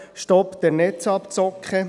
«Stopp der Netzabzocke»: